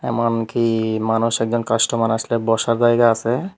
এমনকি মানুষ একজন কাস্টমার আসলে বসার জায়গা আসে ।